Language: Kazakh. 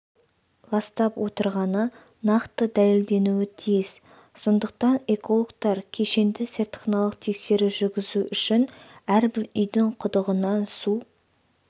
ластап отырғаны нақты дәлелденуі тиіс сондықтан экологтар кешенді-зертханалық тексеру жүргізу үшін әрбір үйдің құдығынан су